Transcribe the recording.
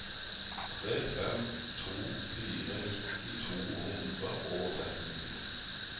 tre fem to fire nitti to hundre og trettini